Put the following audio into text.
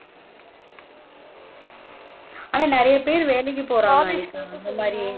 ஆனா நிறைய பேரு, வேலைக்கு போராங்க